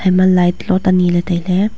ema light lot aniley tailey.